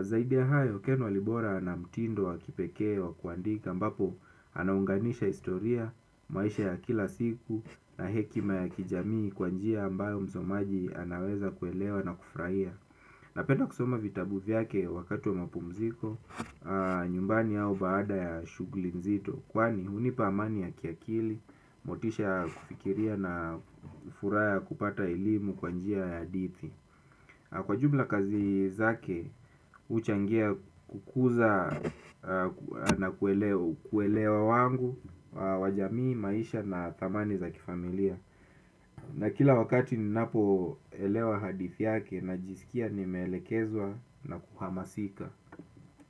Zaidi ya hayo, Ken Walibora ana mtindo wa kipekee wa kuandika ambapo anaunganisha historia, maisha ya kila siku na hekima ya kijamii kwa njia ambayo msomaji anaweza kuelewa na kufurahia. Napenda kusoma vitabu vyake wakati wa mapumziko. Nyumbani au baada ya shughuli nzito kwani hunipa amani ya kiakili, motisha ya kufikiria na furaha ya kupata elimu kwa njia ya hadithi. Kwa jumla kazi zake huchangia kukuza na kuelewa wangu wa jamii, maisha na dhamani za kifamilia. Na kila wakati ninapoelewa hadithi yake najisikia nimeelekezwa na kuhamasika.